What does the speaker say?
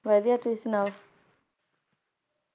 ਵਧੀਆ, ਤੁਸੀਂ ਸੁਣਾਓ?